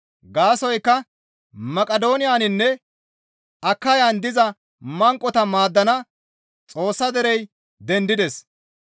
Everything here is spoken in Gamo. Gaasoykka Maqidooniyaninne Akayan diza manqota maaddana Xoossa derey dendides.